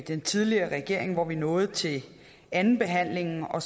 den tidligere regering hvor vi nåede til andenbehandlingen og